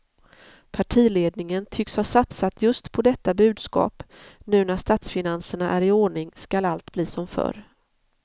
Partiledningen tycks ha satsat just på detta budskap, nu när statsfinanserna är i ordning skall allt bli som förr.